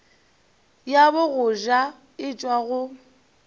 ya bogoja e tšwa go